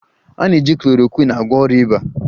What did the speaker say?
A na-eji chlorokwin agwọ ọrịa ịba